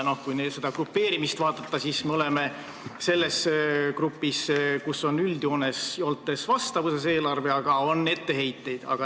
Kui vaadata riikide grupeerimist, siis me oleme selles grupis, kus on üldjoontes nõuetele vastav eelarve, aga on ka etteheiteid.